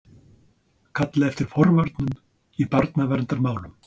Kalla eftir forvörnum í barnaverndarmálum